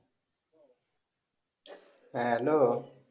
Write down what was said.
হ্যাঁ hello